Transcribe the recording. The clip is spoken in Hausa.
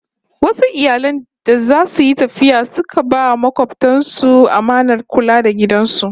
Wasu iyali da zasu yi tafiya sai suka ba makobtan su amanar kula da gidan su